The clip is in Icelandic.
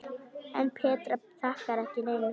En Petra þakkar ekki neinum.